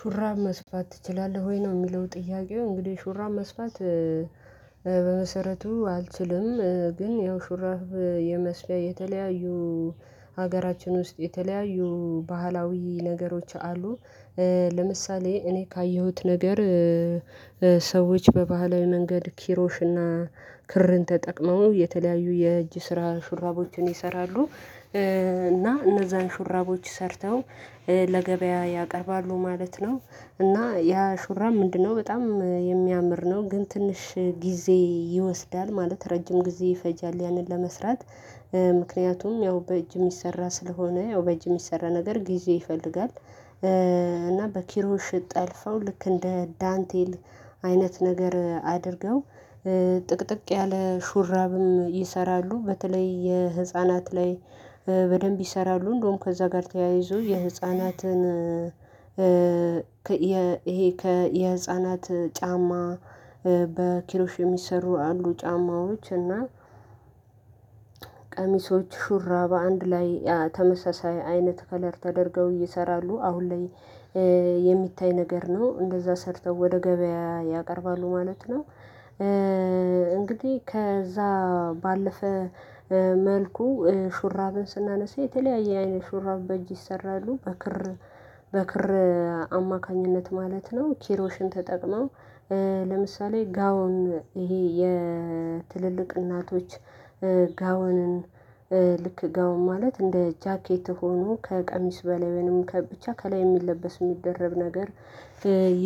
ሹራብ መስፋት ትችላለህ ወይ? ነው የሚለው ጥያቄው እንግዲህ ሹራብ መስፋት። በመሰረቱ አልችልም ግን ያው ሹራብ የመስፊያ የተለያዩ ሀገራችን ውስጥ የተለያዩ ባህላዊ ነገሮች አሉ። ለምሳሌ እኔ ካየሁት ነገር። ሰዎች በባህላዊ መንገድ ኪሮሽና ክርን ተጠቅመው የተለያዩ የእጅ ስራ ሹራቦችን ይሰራሉ። እና እነዛን ሹራቦች ሰርተው ለገበያ ያቀርባሉ ማለት ነው። እና ያ ሹራብ ምንድነው በጣም የሚያምር ነው ግን ትንሽ ጊዜ ይወስዳል ማለት ረጅም ጊዜ ይፈጃል ያንን ለመስራት። ምክንያቱም ያው በእጅ የሚሰራ ስለሆነ ያው በእጅ የሚሰራ ነገር ጊዜ ይፈልጋል። እና በኪሮሽ ጠልፈው ልክ እንደ ዳንቴል። አይነት ነገር አድርገው ጥቅጥቅ ያለ ሹራብም ይሰራሉ። በተለይ የህፃናትን በደንብ ይሰራሉ እንደውም ከዛ ጋር ተያይዞ የህፃናትን። ይሄ ከ የህፃናት ጫማ በኪሮሽ የሚሰሩ አሉ ጫማዎች እና። ቀሚሶች ሹራብ አንድ ላይ ተመሳሳይ አይነት ከለር ተደርገው ይሰራሉ አሁን ላይ የሚታይ ነገር ነው እንደዛ ሰርተው ወደ ገበያ ያቀርባሉ ማለት ነው። እንግዲህ ከዛ ባለፈ መልኩ ሹራብን ስናነሳ የተለያየ አይነት ሹራብ በእጅ ይሰራሉ በክር በክር አማካኝነት ማለት ነው ኪሮሽን ተጠቅመው። ለምሳሌ ጋውን ይሄ የትልልቅ እናቶች ጋውንን ልክ ጋውን ማለት እንደ ጃኬት ሆኖ ከቀሚስ በላይም ብቻ ከላይ የሚለበስ የሚደረግ ነገር።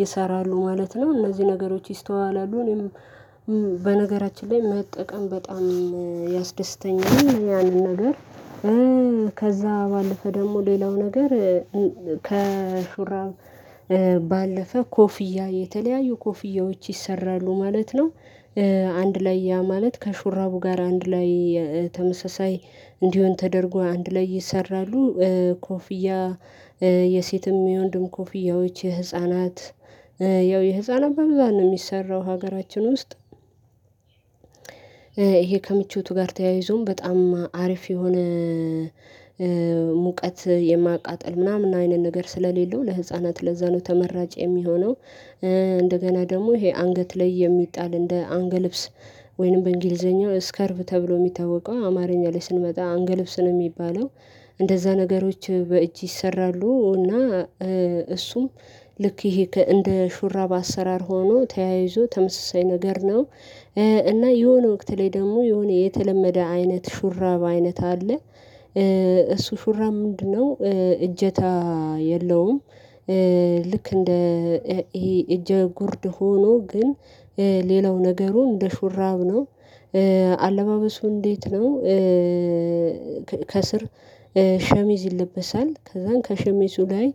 ይሰራሉ ማለት ነው እነዚህ ነገሮች ይስተዋላሉ እኔም በነገራችን ላይ መጠቀም በጣም ያስደስተኛል ያንን ነገር። ከዛ ባለፈ ደግሞ ሌላው ነገር። ከሹራብ ባለፈ ኮፍያ የተለያዩ ኮፍያዎች ይሰራሉ ማለት ነው። አንድ ላይ ያ ማለት ከሹራቡ ጋር አንድ ላይ ተመሳሳይ እንዲሆን ተደርጎ አንድ ላይ ይሰራሉ። ኮፍያ የሴትም የወንድም ኮፍያዎች የህፃናት ያው የህፃናት በብዛት ነው የሚሰራው ሀገራችን ውስጥ። ይሄ ከምቾቱ ጋር ተያይዞም በጣም አሪፍ የሆነ ሙቀት የማቃጥል ምናምን አይነት ነገር ስለሌለው ለህፃናት ለዛ ነው ተመራጭ የሚሆነው። እንደገና ደግሞ ይሄ አንገት ላይ የሚጣል እንደ አንግልብስ ወይንም በእንግሊዘኛው ስከርቭ ተብሎ የሚታወቀው አማርኛ ላይ ስንመጣ አንግልብስ ነው የሚባለው። እንደዛ ነገሮች በእጅ ይሰራሉ እና እሱም ልክ ይሄ እንደ ሹራብ አሰራር ሆኖ ተያይዞ ተመሳሳይ ነገር ነው። እና የሆነ ወቅት ላይ ደግሞ የሆነ የተለመደ አይነት ሹራባ አይነት አለ። እሱ ሹራብ ምንድነው? እጀታ የለውም። ልክ እንደ ይሄ እጀ ጉርድ ሆኖ ግን ሌላው ነገሩ እንደ ሹራብ ነው። አለባበሱ እንዴት ነው? ከስር ሸሚዝ ይለበሳል ከዛን ከሸሚዙ ላይ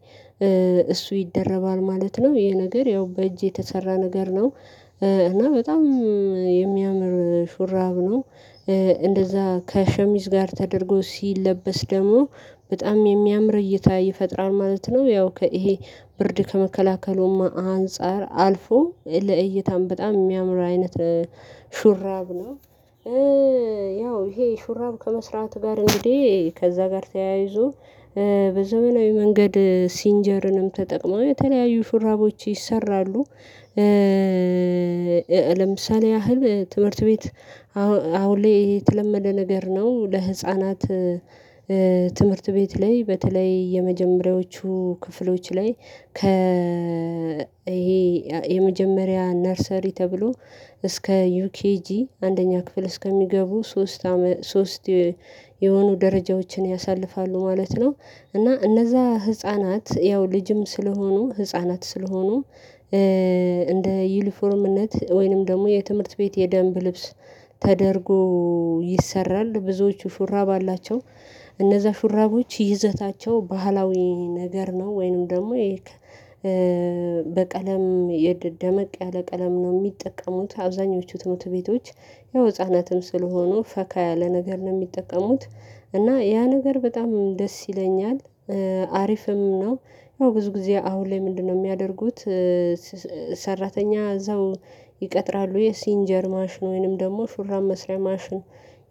እሱ ይደረባል ማለት ነው። ይሄ ነገር ያው በእጅ የተሰራ ነገር ነው። እና በጣም የሚያምር ሹራብ ነው። እንደዛ ከሸሚዝ ጋር ተደርጎ ሲለበስ ደግሞ በጣም የሚያምር እይታ ይፈጥራል ማለት ነው። ያው ይሄ ብርድ ከመከላከሉም አንፃር አልፎ ለእይታም በጣም የሚያምር አይነት ሹራብ ነው። ያው ይሄ ሹራብ ከመስራት ጋር እንግዲህ ከዛ ጋር ተያይዞ በዘመናዊ መንገድ ሲንጀርንም ተጠቅመን የተለያዩ ሹራቦች ይሰራሉ። ለምሳሌ ያህል ትምህርት ቤት አሁን ላይ የተለመደ ነገር ነው ለህፃናት። ትምህርት ቤት ላይ በተለይ የመጀመሪያዎቹ ክፍሎች ላይ ከ ይሄ የመጀመሪያ ነርሰሪ ተብሎ እስከ የኬጂ አንደኛ ክፍል እስከሚገቡ ሶስት ሶስት የሆኑ ደረጃዎችን ያሳልፋሉ ማለት ነው። እና እነዛ ህፃናት ያው ልጅም ስለሆኑ ህፃናት ስለሆኑ። እንደ ዩኒፎርምነት ወይንም ደግሞ የትምህርት ቤት የደንብ ልብስ ተደርጎ ይሰራል ብዙዎቹ ሹራብ አላቸው። እነዛ ሹራቦች ይዘታቸው ባህላዊ ነገር ነው ወይንም ደግሞ። በቀለም ደመቅ ያለ ቀለም ነው የሚጠቀሙት አብዛኞቹ ትምህርት ቤቶች ያው ህፃናትም ስለሆኑ ፈካ ያለ ነገር ነው የሚጠቀሙት። እና ያ ነገር በጣም ደስ ይለኛል። አሪፍም ነው። ያው ብዙ ጊዜ አሁን ላይ ምንድነው? የሚያደርጉት። ሰራተኛ እዛው ይቀጥራሉ የሲንጀር ማሽን ወይንም ደግሞ ሹራስ መስሪያ ማሽን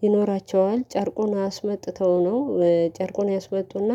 ይኖራቸዋል ጨርቁን አስመጥተው ነው ጨርቁን ያስመጡና።